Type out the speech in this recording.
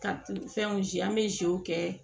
Ka fɛnw ji an bɛ zuw kɛ